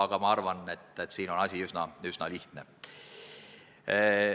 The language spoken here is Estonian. Kuid ma arvan, et siin on asi üsna lihtne.